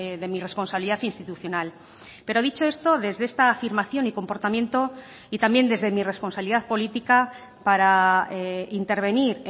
de mi responsabilidad institucional pero dicho esto desde esta afirmación y comportamiento y también desde mi responsabilidad política para intervenir